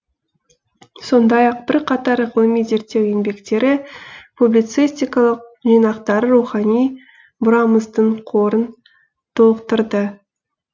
сондай ақ бірқатар ғылыми зерттеу еңбектері публицистикалық жинақтары рухани мұрамыздың қорын толықтырды